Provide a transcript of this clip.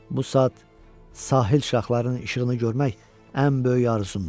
Bu saat sahil şaxlarının işığını görmək ən böyük arzumdur.